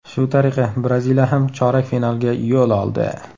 Shu tariqa Braziliya ham chorak finalga yo‘l oldi.